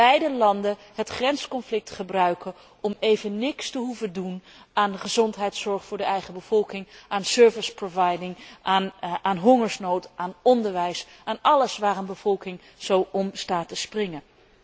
daargelaten het grensconflict gebruiken om even niets te hoeven doen aan de gezondheidszorg voor de eigen bevolking, aan dienstverlening, aan hongersnood, aan onderwijs, aan alles waar de bevolking zo om staat te springen.